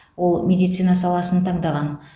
ол медицина саласын таңдаған